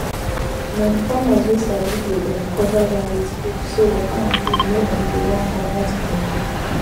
na the farmers wey sabi dey um cover ground with leaves so water and food no um go run commot um